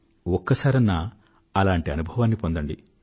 ఒక్కసారన్నా అలాంటి అనుభవాన్ని పొందండి